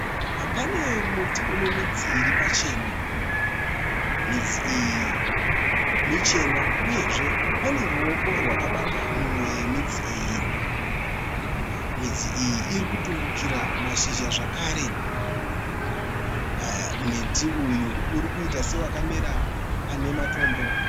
Pane muti une midzi iri pachena. Midzi iyi michena uyezve pane ruoko rwakabata mumwe yemidzi iyi. Midzi iyi iri kutumbukira mashizha zvakare. Muti uyu urikuita sewakamera pane matombo.